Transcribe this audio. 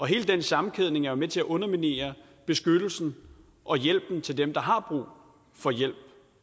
hele den sammenkædning er med til at underminere beskyttelsen og hjælpen til dem der har brug for hjælp